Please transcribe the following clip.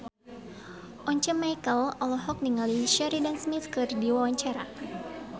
Once Mekel olohok ningali Sheridan Smith keur diwawancara